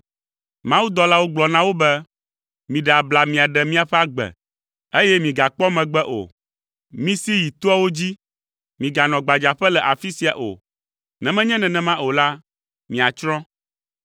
Mawudɔlawo gblɔ na wo be, “Miɖe abla miaɖe miaƒe agbe, eye migakpɔ megbe o. Misi yi toawo dzi, miganɔ gbadzaƒe le afi sia o. Ne menye nenema o la, miatsrɔ̃.”